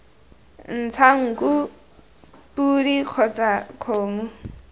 ntsha nku podi kgotsa kgomo